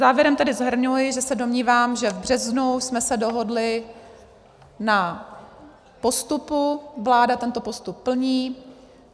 Závěrem tedy shrnuji, že se domnívám, že v březnu jsme se dohodli na postupu, vláda tento postup plní.